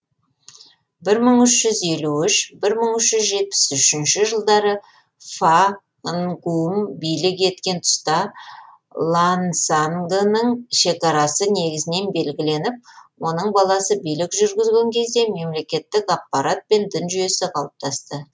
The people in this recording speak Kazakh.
бір мың үш жүз елу үш бір мың үш жүз жетпіс үшінші жылдары фа нгум билік еткен тұста лансангының шекарасы негізінен белгіленіп оның баласы билік жүргізген кезде мемлекеттік аппарат пен дін жүйесі қалыптасты